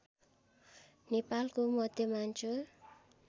नेपालको मध्यमाञ्चल